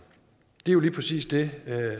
det er jo lige præcis det